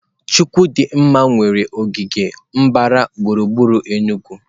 Chukwu di nma nwere ogige gbara gburugburu Enugu.